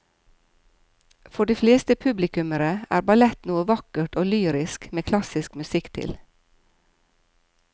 For de fleste publikummere er ballett noe vakkert og lyrisk med klassisk musikk til.